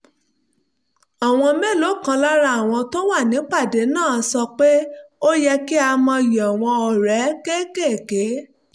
àwọn mélòó kan lára àwọn tó wà nípàdé náà sọ pé ó yẹ kí a mọyì àwọn ọrẹ kéékèèké